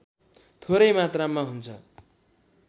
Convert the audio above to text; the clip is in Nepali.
थोरै मात्रामा हुन्छ